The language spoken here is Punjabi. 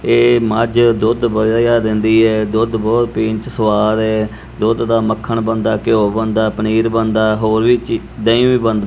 ਏ ਮਝ ਦੁੱਧ ਵਧੀਆ ਦਿੰਦੀ ਹੈ ਦੁੱਧ ਬਹੁਤ ਪੀਣ ਚ ਸਵਾਦ ਏ ਦੁੱਧ ਦਾ ਮੱਖਣ ਬੰਦਾ ਘਿਓ ਬੰਦਾ ਪਨੀਰ ਬੰਦਾ ਹੋਰ ਵੀ ਦਹੀਂ ਵੀ--